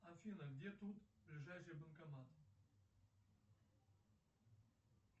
афина где тут ближайший банкомат